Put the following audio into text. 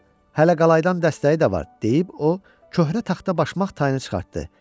Hələ qalaydan dəstəyi də var, deyib o, köhnə taxta başmaq tayını çıxartdı.